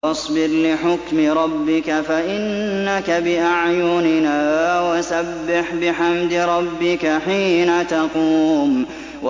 وَاصْبِرْ لِحُكْمِ رَبِّكَ فَإِنَّكَ بِأَعْيُنِنَا ۖ وَسَبِّحْ بِحَمْدِ رَبِّكَ حِينَ تَقُومُ